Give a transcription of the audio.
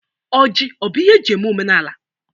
Ọjị ọbụ ihe eji eme ihe omenaala?